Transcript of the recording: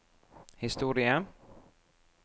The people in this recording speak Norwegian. historie